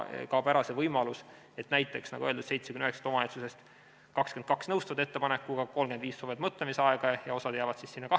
Siis kaob ära see võimalus, et näiteks, nagu öeldud, 79 omavalitsusest 22 nõustuvad ettepanekuga, 35 soovivad mõtlemisaega ja osa jääb kahevahele.